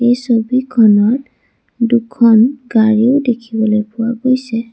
এই ছবিখনত দুখন গাড়ীও দেখিবলৈ পোৱা গৈছে।